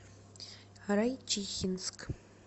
райчихинск